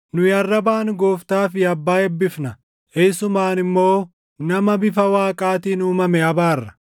Nu arrabaan Gooftaa fi Abbaa eebbifna; isumaan immoo nama bifa Waaqaatiin uumame abaarra.